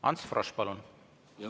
Ants Frosch, palun!